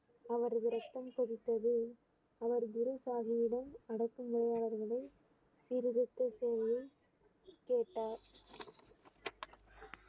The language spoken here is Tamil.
அவரது ரத்தம் கொதித்தது அவர் குருசாமியிடம் அடக்கு முறையாளர்களை சீர்திருத்த சேவையில் கேட்டார்